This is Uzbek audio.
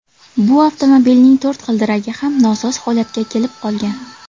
Bu avtomobilning to‘rt g‘ildiragi ham nosoz holatga kelib qolgan.